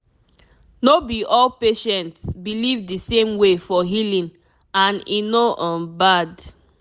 no be all patients believe the same way for healing and e no um bad